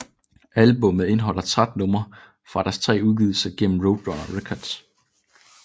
Albummet indeholder 13 numre fra deres tre udgivelser gennem Roadrunner Records